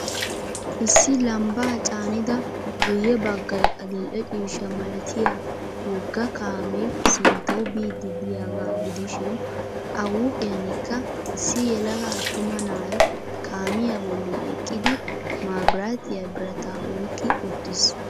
Issi lambbaa caannida guyye baggay adildhhdhe ciishsha malatiya wogga kaame sinttawu biid diyaaga gidishiin a huphphiyankka issi yelaga attuma na'ay kaamiya bolli eqqidi mabirattiya birattaa oyqqi uttis .